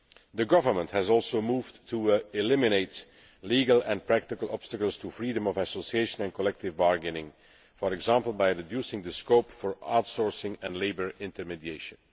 The Government has also moved to eliminate legal and practical obstacles to freedom of association and collective bargaining, for example by reducing the scope for outsourcing and labour intermediation.